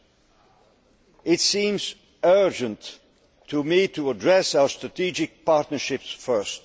Well, it seemed urgent to me to address our strategic partnerships first.